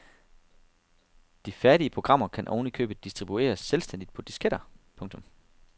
De færdige programmer kan oven i købet distribueres selvstændigt på disketter. punktum